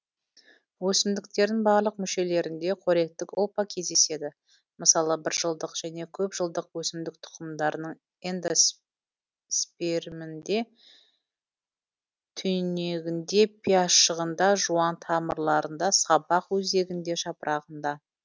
өсімдіктердің барлық мүшелерінде қоректік ұлпа кездеседі мысалы бір жылдық және көп жылдық өсімдік тұқымдарының эндос перм інде түйнегін де пиязшығын да жуан тамырларында сабақ өзегінде жапырағында